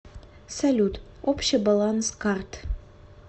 салют общий баланс карт